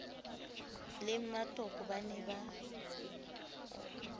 le mmatoko ba ne ba